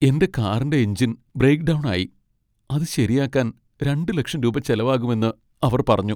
എന്റെ കാറിന്റെ engine break down ആയി, അത് ശരിയാക്കാൻ രണ്ട് ലക്ഷം രൂപ ചെലവാകുമെന്ന് അവർ പറഞ്ഞു.